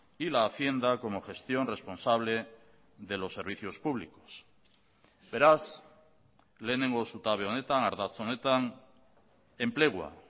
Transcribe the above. y la hacienda como gestión responsable de los servicios públicos beraz lehenengo zutabe honetan ardatz honetan enplegua